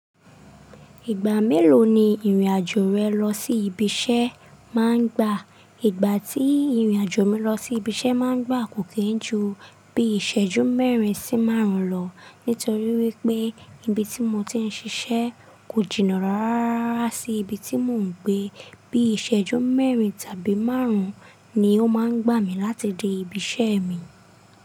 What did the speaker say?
Ìgbà mélòó ni ìrìn-àjò rẹ lọ sí ibi iṣẹ́ máa ń gbà? Ìgbà tí ìrìn-àjò mi lọ sí ibi iṣẹ́ máa ń gbà kò kí ń ju bí iṣẹ́jú mẹ́rin sí márùn-ún lọ. Nítorí wípé ibi tí mo ti ń ṣiṣẹ́ kò jìnnà rá rá rá sí ibi tí mò ń gbé. Bí iṣẹ́jú mẹ́rin tàbí márùn-ún ni ó máa ń gbà mí láti dé ibi iṣẹ́ mi.